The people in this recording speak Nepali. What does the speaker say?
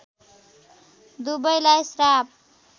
दुबैलाई श्राप